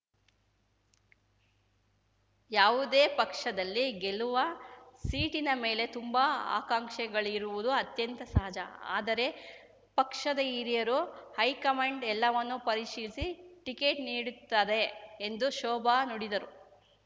ಯಾವುದೇ ಪಕ್ಷದಲ್ಲಿ ಗೆಲ್ಲುವ ಸೀಟಿನ ಮೇಲೆ ತುಂಬಾ ಆಕಾಂಕ್ಷಿಗಳಿರುವುದು ಅತ್ಯಂತ ಸಹಜ ಆದರೆ ಪಕ್ಷದ ಹಿರಿಯರು ಹೈಕಮಾಂಡ್ ಎಲ್ಲವನ್ನೂ ಪರಿಶೀಲಿಸಿ ಟಿಕೇಟ್ ನೀಡುತ್ತದೆ ಎಂದು ಶೋಭಾ ನುಡಿದರು